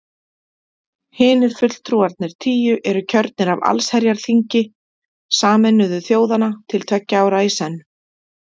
Hinir fulltrúarnir tíu eru kjörnir af allsherjarþingi Sameinuðu þjóðanna til tveggja ára í senn.